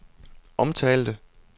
omtalte